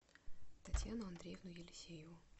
татьяну андреевну елисееву